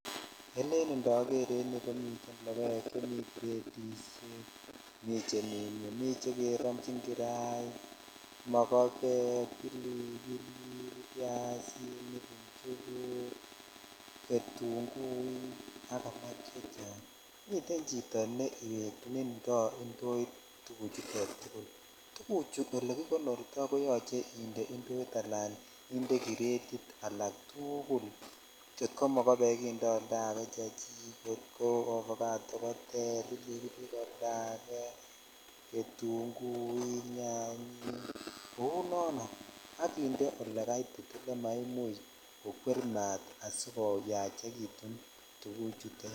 Eken indoger en iyuu komiten lokoek cheni cratishek miten chemi ngweng mii chekerobchin kirait mokbek ,bilibilik ,ibyssinik ichukuk ,bilibilik ,ketuguik ak alak chechang miten chkito neinfo indoit tuguchutet tuguchu okekikonorto koyoche indee inde kinuet ala kiretit alaktugul kou mokobek indoi oltake chechik kou ovacado koter bilibili koter getuguik nyanyik kou nono ak kinde ole kaitit ele maimuch kokwer mat asikoyachekitun tuguchutet.